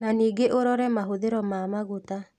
Na ningĩ ũrore mahũthĩro ma maguta